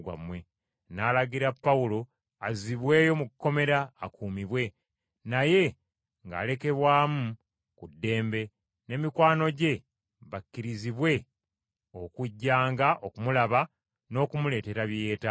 N’alagira Pawulo azzibweyo mu kkomera akuumibwe, naye ng’alekerwamu ku ddembe, ne mikwano gye bakkirizibwe okujjanga okumulaba n’okumuleetera bye yeetaaga.